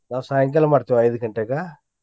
ನಾವ್ ಸಾಯಂಕಾಲಾ ಮಾಡ್ತೇವ ಐದ್ ಗಂಟೆಗ.